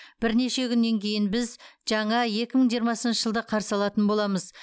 бірнеше күннен кейін біз жаңа екі мың жиырмасыншы жылды қарсы алатын боламыз